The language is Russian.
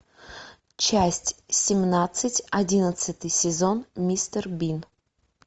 часть семнадцать одиннадцатый сезон мистер бин